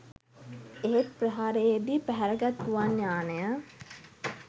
එහෙත් ප්‍රහාරයේදී පැහැරගත් ගුවන් යානය